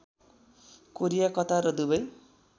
Korea Qatar र Dubai